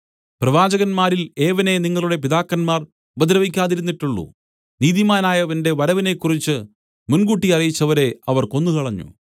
പ്രവാചകന്മാരിൽ ഏവനെ നിങ്ങളുടെ പിതാക്കന്മാർ ഉപദ്രവിക്കാതിരുന്നിട്ടുള്ളു നീതിമാനായവന്റെ വരവിനെക്കുറിച്ച് മുൻകൂട്ടി അറിയിച്ചവരെ അവർ കൊന്നുകളഞ്ഞു